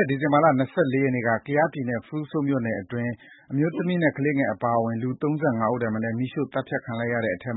ဲ့ ဒီဇင်ဘာ ၂၄ ရက်နေ့က ကယားပြည်နယ် ဖရူဆိုမြို့နယ်တွင်း အမျိုးသမီးနဲ့ကလေးအပါအဝင် လူ ၃၅ ဦးထက်မနည်း သတ်ဖြတ်မီးရှို့ခံလိုက်ရတဲ့အထဲ